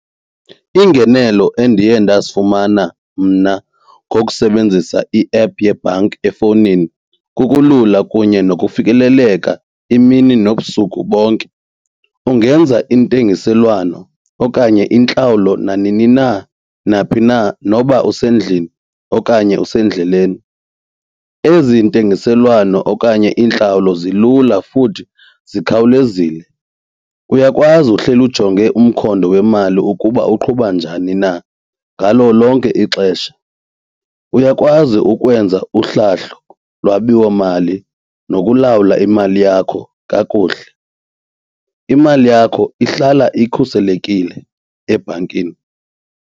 Iingenelo endiye ndazifumana mna ngokusebenzisa i-app yebhanki efowunini kukulula kunye nokufikeleleka imini nobusuku bonke. Ungenza intengiselwano okanye intlawulo nanini na naphi na noba usendlini okanye usendleleni. Ezi ntengiselwano okanye iintlawulo zilula futhi zikhawulezile. Uyakwazi uhleli ujonge umkhondo wemali ukuba uqhuba njani na ngalo lonke ixesha. Uyakwazi ukwenza uhlahlo lwabiwomali nokulawula imali yakho kakuhle. Imali yakho ihlala ikhuselekile ebhankini.